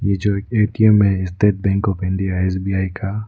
ये जो ए_टी_एम है State Bank of India SBI का।